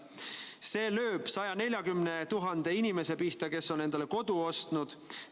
See lööb 140 000 inimese pihta, kes on endale kodu ostnud.